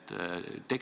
Aitäh, härra esimees!